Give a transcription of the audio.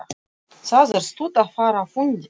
Það er stutt að fara á fundi.